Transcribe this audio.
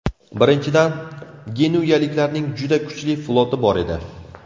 Birinchidan, genuyaliklarning juda kuchli floti bor edi.